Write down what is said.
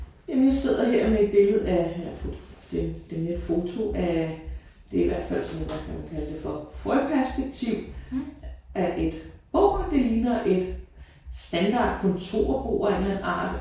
Jamen jeg sidder her med et billede af det det er mere et foto af det er i hvert fald tror jeg godt man må kalde det for frøperspektiv af et bord. Det ligner et standard kontorbord af en eller anden art